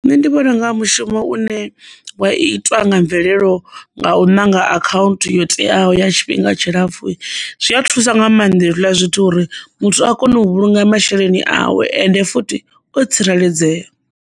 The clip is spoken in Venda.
Nṋe ndi vhona unga mushumo une wa itwa nga mvelelo nga u ṋanga account yo teaho ya tshifhinga tshilapfhu zwi a thusa nga maanḓa hezwiḽa zwithu uri muthu a kone u vhulunga masheleni awe ende futhi o tsireledzea.